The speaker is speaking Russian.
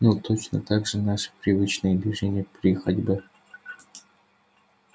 ну точно так же наши привычные движения при ходьбе